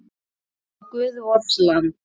Ó, guð vors lands!